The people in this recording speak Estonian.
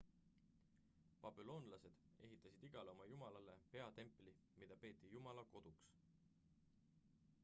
babüloonlased ehitasid igale oma jumalale peatempli mida peeti jumala koduks